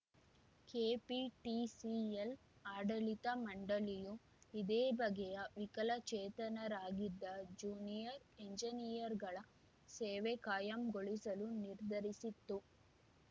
KPTCL ಆಡಳಿತ ಮಂಡಳಿಯು ಇದೇ ಬಗೆಯ ವಿಕಲಚೇತನರಾಗಿದ್ದ ಜ್ಯೂನಿಯರ್‌ ಎಂಜಿನಿಯರ್‌ಗಳ ಸೇವೆ ಕಾಯಂಗೊಳಿಸಲು ನಿರ್ಧರಿಸಿತ್ತು